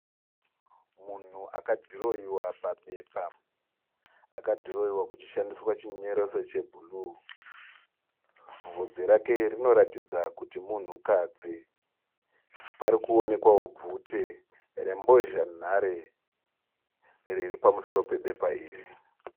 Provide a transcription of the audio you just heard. Munhu akadhirohwewa pabepa. Akadhirohwehwa kuchishandiswa chinyoreso chebhru. Bvudzi rake rinoratidza kuti munhukadzi. parikuonekwawo bvute rembozhanhare riri pamusoro pebepa iri.